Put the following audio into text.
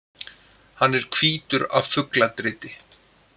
Hann er hvítur af fugladriti.